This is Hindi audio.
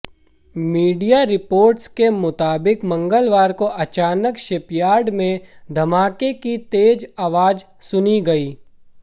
मीडिया रिपोर्ट्स के मुताबिक मंगलवार को अचानक शिपयार्ड में धमाके की तेज आवाज सुनी गई